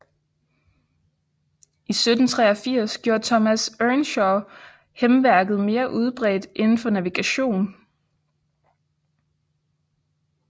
I 1783 gjorde Thomas Earnshaw hæmværket mere udbredt inden for navigation